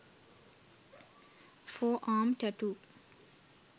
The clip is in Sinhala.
forearm tattoo